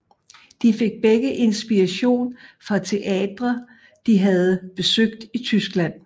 De fik begge inspiration fra teatre de havde besøgt i Tyskland